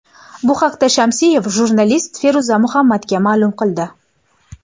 Bu haqda Shamsiyev jurnalist Feruz Muhammadga ma’lum qildi.